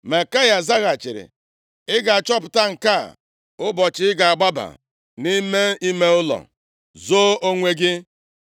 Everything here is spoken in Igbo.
Maikaya zaghachiri, “Ị ga-achọpụta nke a nʼụbọchị ị ga-agbaba nʼime ime ụlọ izo onwe gị.”